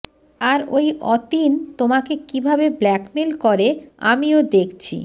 আর ওই অতীন তোমাকে কিভাবে ব্ল্যাকমেল করে আমিও দেখছি